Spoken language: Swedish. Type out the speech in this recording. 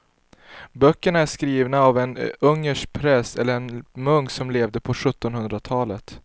Böckerna är skrivna av en ungersk präst eller munk som levde på sjuttonhundratalet.